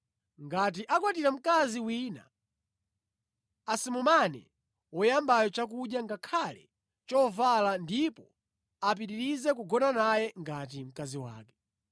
Ngati akwatira mkazi wina, asamumane woyambayo chakudya ngakhale chovala ndipo apiritirize kugona naye ngati mkazi wake.